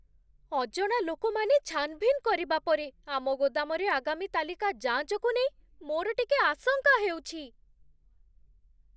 ଅଜଣା ଲୋକମାନେ ଛାନ୍‌ଭିନ୍ କରିବା ପରେ ଆମ ଗୋଦାମରେ ଆଗାମୀ ତାଲିକା ଯାଞ୍ଚକୁ ନେଇ ମୋର ଟିକେ ଆଶଙ୍କା ହେଉଛି।